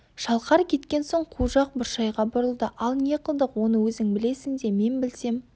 шалқар кеткен соң қу жақ бұршайға бұрылды ал не қылдық оны өзің білесің де мен білсем